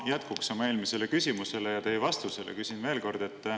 Ma jätkuks oma eelmisele küsimusele ja teie vastusele küsin veel kord.